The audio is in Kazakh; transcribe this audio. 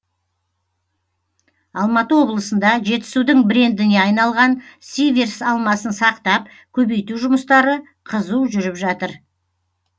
алматы облысында жетісудың брендіне айналған сиверс алмасын сақтап көбейту жұмыстары қызу жүріп жатыр